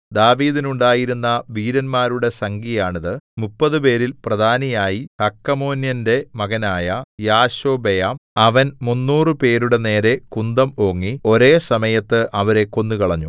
ദാവീദിനുണ്ടായിരുന്ന വീരന്മാരുടെ സംഖ്യയാണിത് മുപ്പതുപേരിൽ പ്രധാനിയായി ഹഖമോന്യന്റെ മകനായ യാശോബെയാം അവൻ മുന്നൂറുപേരുടെ നേരെ കുന്തം ഓങ്ങി ഒരേ സമയത്ത് അവരെ കൊന്നുകളഞ്ഞു